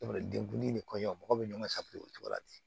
Denbulu in ni kɔɲɔ mɔgɔ bɛ ɲɔgɔn o cogo la ten